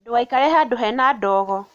Ndũgaikare handũ hena ndogo.